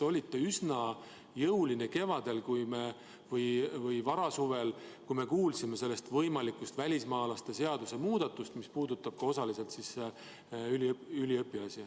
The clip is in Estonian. Te olite kevadel või varasuvel üsna jõuline, kui me kuulsime sellest võimalikust välismaalaste seaduse muudatusest, mis puudutab osaliselt ka üliõpilasi.